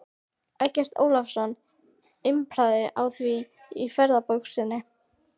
Eggert Ólafsson impraði á því í ferðabók sinni